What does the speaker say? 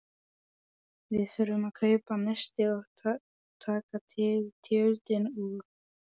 Við þurfum að kaupa nesti og taka til tjöldin og.